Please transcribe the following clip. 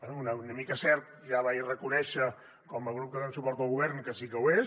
bé una mica és cert i ja vaig reconèixer com a grup que donem suport al govern que sí que ho és